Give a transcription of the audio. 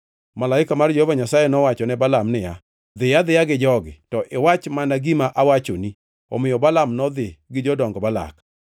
Malaika mar Jehova Nyasaye nowacho ne Balaam niya, “Dhiyo adhiya gi jogi, to iwach mana gima awachoni.” Omiyo Balaam nodhi gi jodong Balak.